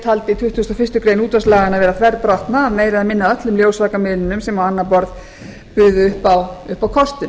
taldi tuttugasta og fyrstu grein útvarpslaganna vera þverbrotna að meira eða minna af öllum ljósvakamiðlunum sem á annað borð buðu upp á kostun